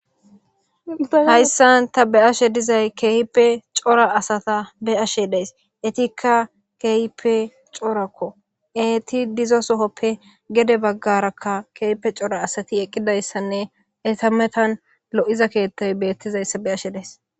hayssan ta be'ashe dizay keehipe cora asata be ashe deys etikka keehipe corakko eti dizo sohoppe gede baggarakka keehpe cora asati eqqidayssanne etametan lo7iza keettay beettizayssa be'ashe dayis